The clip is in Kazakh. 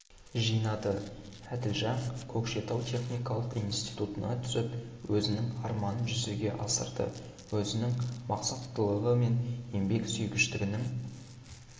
жинады әділжан көкшетау техникалық институтына түсіп өзінің арманын жүзеге асырды өзінің мақсаттылығы мен еңбек сүйгіштігінің